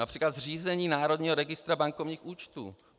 Například zřízení Národního registru bankovních účtů.